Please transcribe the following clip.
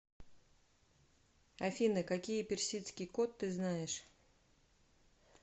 афина какие персидский кот ты знаешь